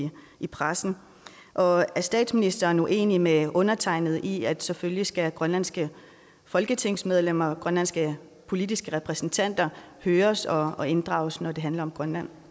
i pressen og er statsministeren uenig med undertegnede i at selvfølgelig skal grønlandske folketingsmedlemmer grønlandske politiske repræsentanter høres og og inddrages når det handler om grønland